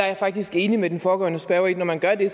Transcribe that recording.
jeg faktisk enig med den foregående spørger i at når man gør det